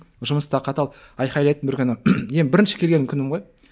жұмыста қатал айғайлайды бір күні бірінші келген күнім ғой